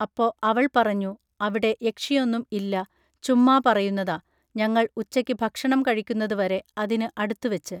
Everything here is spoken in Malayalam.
അപ്പൊ അവൾ പറഞ്ഞു അവിടെ യക്ഷിയൊന്നും ഇല്ല ചുമ്മാ പറയുന്നതാ ഞങ്ങൾ ഉച്ചക്ക് ഭക്ഷണം കഴിക്കുന്നത് വരെ അതിനു അടുത്ത് വച്ച്